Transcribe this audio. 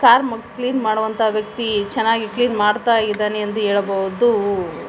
Car ಮು clean ಮಾಡುವಂತ ವ್ಯಕ್ತಿ ಚೆನಾಗಿ ಕ್ಲೀನ್ ಮಾಡ್ತ ಇದಾನೆ ಅಂತ ಹೇಳ್ಬೋದು.